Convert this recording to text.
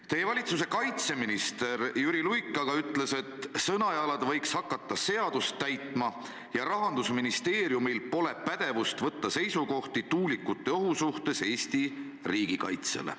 " Teie valitsuse kaitseminister Jüri Luik aga ütles, et Sõnajalad võiks hakata seadust täitma ja Rahandusministeeriumil pole pädevust võtta seisukohti tuulikute ohu suhtes Eesti riigikaitsele.